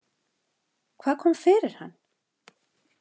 Hvað kom fyrir hann?